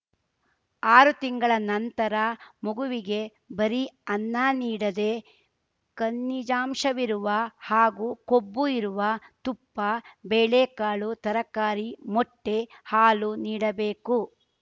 ಆರು ತಿಂಗಳ ನಂತರ ಮಗುವಿಗೆ ಬರೀ ಅನ್ನ ನೀಡದೇ ಖನಿಜಾಂಶವಿರುವ ಹಾಗೂ ಕೊಬ್ಬು ಇರುವ ತುಪ್ಪ ಬೇಳೆಕಾಳು ತರಕಾರಿ ಮೊಟ್ಟೆ ಹಾಲು ನೀಡಬೇಕು